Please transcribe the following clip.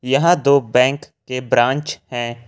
यह दो बैंक के ब्रांच है।